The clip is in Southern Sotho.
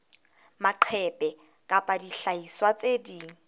maqephe kapa dihlahiswa tse ding